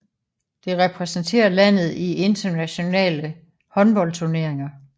Det repræsenterer landet i internationale håndboldturneringer